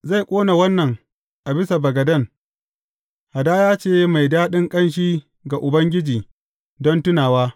Zai ƙona wannan a bisa bagaden, hadaya ce mai daɗin ƙanshi ga Ubangiji don tunawa.